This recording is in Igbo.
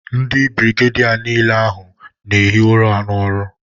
Ndi birigedia n'ile ahu n'ehi ura n'oru